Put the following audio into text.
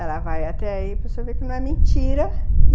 Ela vai até aí para você ver que não é mentira.